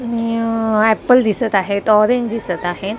आणि अह ॲपल दिसत आहेत ऑरेंज दिसत आहे.